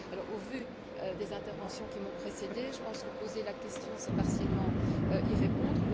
Au vu des interventions qui ont précédé, je pense que poser la question, c'est partiellement y répondre.